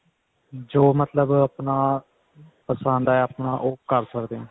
ਜੋ ਮਤਲਬ ਆਪਣਾ ਪਸੰਦ ਆਇਆ ਆਪਾਂ ਉਹ ਕਰ ਸਕਦੇ ਹਾਂ